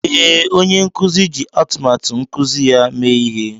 Ee, onye nkuzi ji atụmatụ nkuzi ya mee ihe